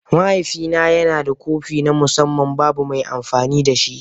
Mahaifina yana da kofi na musamman, babu mai amfani da shi.